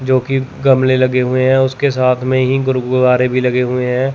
जो की गमले लगे हुए हैं उसके साथ में ही गुरब्बारे भी लगे हुए हैं।